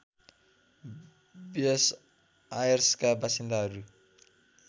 ब्युस् आयर्सका वासिन्दाहरू